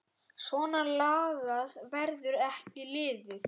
Svona lagað verður ekki liðið.